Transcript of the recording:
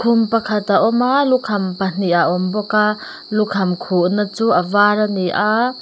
khum pakhat a awm a lukham pahnih a awm bawka lukham khuhna chu avar ani a--